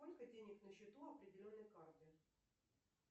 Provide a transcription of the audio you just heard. сколько денег на счету определенной карты